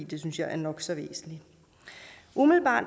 det synes jeg er nok så væsentligt umiddelbart